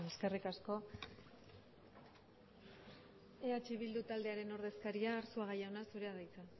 eskerrik asko eh bildu taldearen ordezkaria arzuaga jauna zurea da hitza